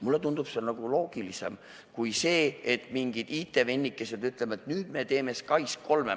Mulle tundub see loogilisem kui see, et mingid IT-vennikesed ütlevad, et nüüd me teeme SKAIS3.